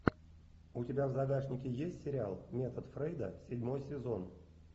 у тебя в загашнике есть сериал метод фрейда седьмой сезон